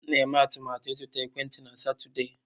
M na-eme atụmatụ ịzụta ekwentị na Satọde.